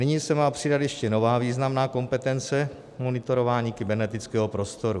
Nyní se má přidat ještě nová významná kompetence - monitorování kybernetického prostoru.